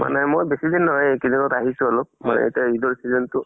মানে মই বেছি দিন নহয়, এইকেইদিনত আহিছো অলপ হয় এতিয়া ঈদৰ season টো